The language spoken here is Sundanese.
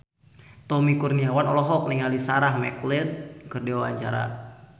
Tommy Kurniawan olohok ningali Sarah McLeod keur diwawancara